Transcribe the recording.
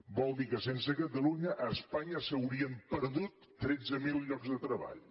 vol dir que sense catalunya a espanya s’haurien perdut tretze mil llocs de treball